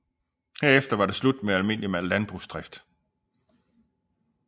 Herefter var det slut med almindelig landbrugsdrift